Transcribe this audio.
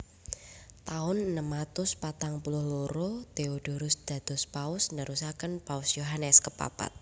Taun enem atus patang puluh loro Theodorus dados Paus nerusaken Paus Yohanes kepapat